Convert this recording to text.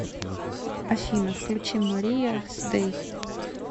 афина включи мария с дэй